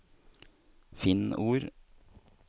Finn ord